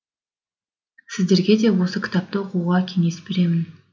сіздергеде осы кітапты оқуға кеңес беремін